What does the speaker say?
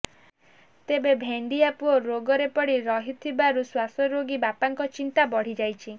ତେବେ ଭେଣ୍ଡିଆ ପୁଅ ରୋଗରେ ପଡି ରହିଥିବାରୁ ଶ୍ୱାସରୋଗୀ ବାପାଙ୍କ ଚିନ୍ତା ବଢିଯାଇଛି